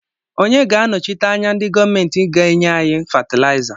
Onye ga-anọchite anya ndị gọọmenti ga-enye anyị fatalaiza